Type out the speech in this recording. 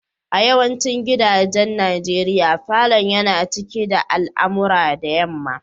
A yawancin gidajen nigeria, falon yana cikin da alamura da yamma.